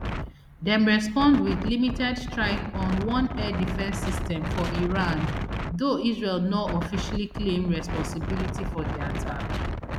dem respond wit limited strike on one air defence system for iran though israel no officially claim responsibility for di attack